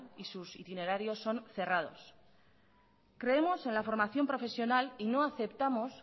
y sus itinerarios son cerrados creemos en la formación profesional y no aceptamos